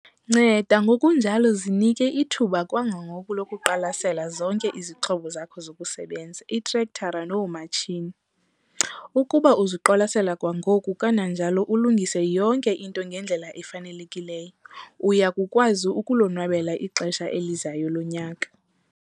Nceda ngokunjalo zinike ithuba kwangoku lokuqwalasela zonke izixhobo zakho zokusebenza, iitrektara noomatshini. Ukuba uziqwalasela kwangoku kananjalo ulungise yonke into ngendlela efanelekileyo, uya kukwazi ukulonwabela ixesha elizayo lonyaka.